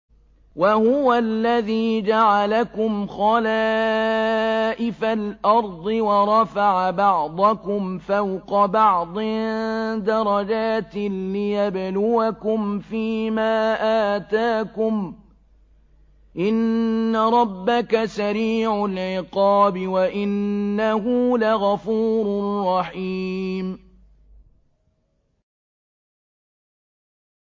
وَهُوَ الَّذِي جَعَلَكُمْ خَلَائِفَ الْأَرْضِ وَرَفَعَ بَعْضَكُمْ فَوْقَ بَعْضٍ دَرَجَاتٍ لِّيَبْلُوَكُمْ فِي مَا آتَاكُمْ ۗ إِنَّ رَبَّكَ سَرِيعُ الْعِقَابِ وَإِنَّهُ لَغَفُورٌ رَّحِيمٌ